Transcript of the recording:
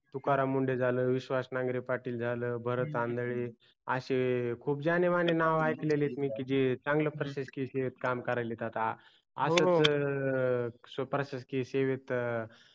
तुकाराम मुंडे झाल विश्वास नागरे पाटील झाल भरत आंधळे असे खूप जाणे माने नाव आयकलेत मी की जे चांगले प्रशासकीय काम करायलेत आता असच प्रशासकीय सेवेत